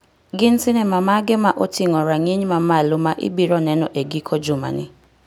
Gin sinema mage ma oting'o rang'iny mamalo ma ibiro neno e giko juma ni